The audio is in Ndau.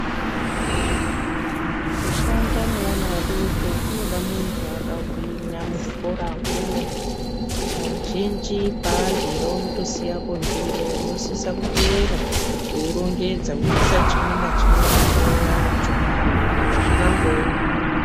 Kushanda nevana vadoko kunoda muntu akagwinya muzvikoramwo .Kazhinji paaryira unotosiyapo ndiro unosisa kuteera weirongedza weisa chimwe nachimwe pandau yacho ,saka zvakangooma.